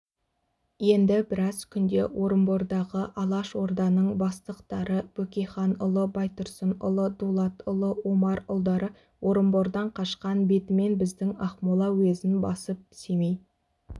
енді біраз күнде орынбордағы алашорданың бастықтары бөкейханұлы байтұрсынұлы дулатұлы омарұлдары орынбордан қашқан бетімен біздің ақмола уезін басып семей